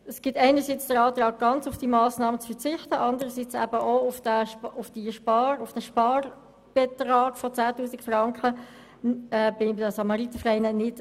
Es gibt einerseits den Antrag, diese Massnahme ganz zu streichen, und andererseits den Antrag, auf den Sparbetrag von 10 000 Franken bei den Samaritervereinen zu verzichten.